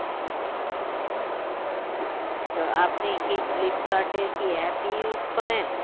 তো আপনি কি ফ্লিপকার্টে app use করেন